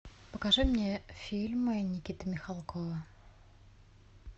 покажи мне фильмы никиты михалкова